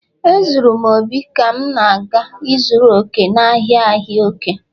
Ezuru m obi ka m na-aga ịzụrụ òkè, n'ahịa ahịa òkè